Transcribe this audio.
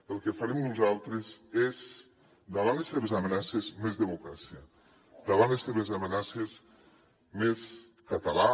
el que farem nosaltres és davant les seves amenaces més democràcia davant les seves amenaces més català